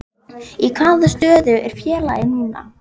Í hvaða stöðu er félagið núna?